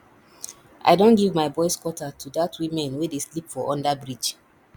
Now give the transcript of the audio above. i don give my boys quarter to dat women we dey sleep for underbridge